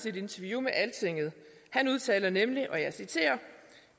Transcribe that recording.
et interview med altinget han udtaler nemlig